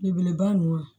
Belebeleba ninnu